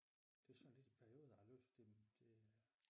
Det er sådan lidt i perioder jeg har læst dem det øh